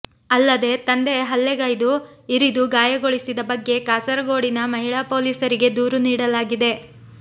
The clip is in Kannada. ಅಲ್ಲದೆ ತಂದೆ ಹಲ್ಲೆಗೈದು ಇರಿದು ಗಾಯಗೊಳಿಸಿದ ಬಗ್ಗೆ ಕಾಸರಗೋಡಿನ ಮಹಿಳಾ ಪೊಲೀಸರಿಗೆ ದೂರು ನೀಡಲಾಗಿದೆ